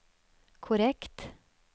korrekt